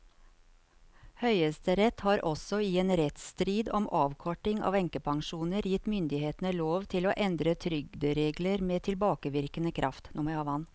Høyesterett har også i en rettsstrid om avkorting av enkepensjoner gitt myndighetene lov til å endre trygderegler med tilbakevirkende kraft.